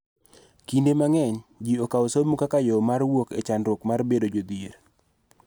Kinde mang�eny, ji okawo somo kaka yo mar wuok e chandruok mar bedo jodhier.